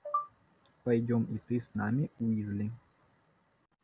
пойдём и ты с нами уизли